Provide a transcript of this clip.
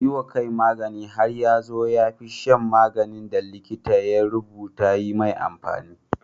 Yi wa kai magani har ya zo ya fi shan maganin da likita ya rubuta yi mai amfani.